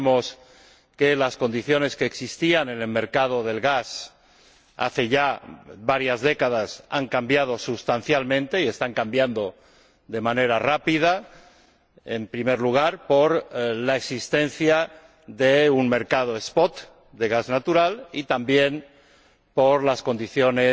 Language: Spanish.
Creemos que las condiciones que existían en el mercado del gas hace ya varias décadas han cambiado sustancialmente y están cambiando de manera rápida, en primer lugar, por la existencia de un mercado spot de gas natural y también por las condiciones